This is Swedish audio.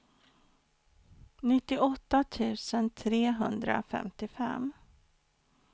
nittioåtta tusen trehundrafemtiofem